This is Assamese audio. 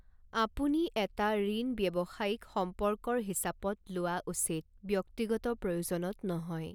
আপুনি এটা ঋণ ব্যৱসায়িক সম্পৰ্কৰ হিচাপত লোৱা উচিত, ব্যক্তিগত প্ৰয়োজনত নহয়।